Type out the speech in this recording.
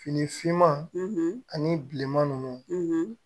Fini finma ani bilema ninnu